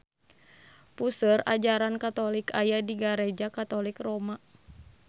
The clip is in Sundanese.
Puseur ajaran katolik aya di Gareja Katolik Roma